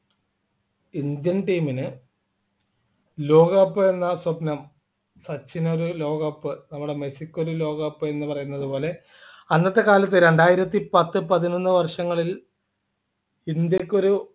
Indian team നു ലോകകപ്പ് എന്ന സ്വപ്നം സച്ചിൻ ഒരു ലോകകപ്പ് നമ്മുടെ മെസ്സിക്ക് ഒരു ലോകകപ്പ് എന്ന് പറയുന്നത് പോലെ അന്നത്തെ കാലത്തു രണ്ടായിരത്തി പത്ത് പതിനൊന്നു വർഷങ്ങളിൽ ഇന്ത്യക്കൊരു